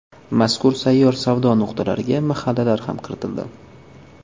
Mazkur sayyor savdo nuqtalariga mahallalar ham kiritildi.